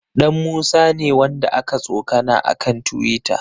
Ɗanmusa ne wanda aka tsokana a kan tiwita.